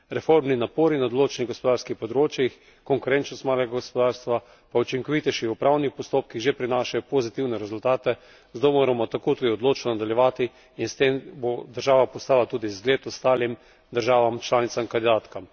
Reformni napori na določenih gospodarskih področjih, konkurenčnost malega gospodarstva, pa učinkovitejši upravni postopki že prinašajo pozitivne rezultate, zato moramo tako tudi odločno nadaljevati in s tem bo država postala tudi zgled ostalim državam članicam kandidatkam.